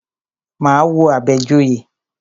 Máa wo Àbẹ̀joyè.